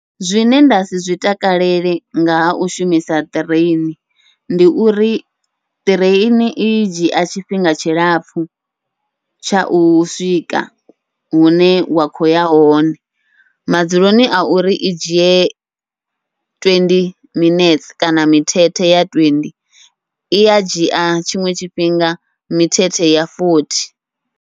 Zwine ndasi zwi takalele nga hau shumisa ṱireini, ndi uri ṱireini i dzhia tshifhinga tshilapfhu tsha u swika hune wa kho uya hone, madzuloni a uri i dzhie twendi minetse kana mithethe ya twenty ia dzhia tshiṅwe tshifhinga mithethe ya fothi.